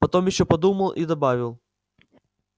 потом ещё подумал и добавил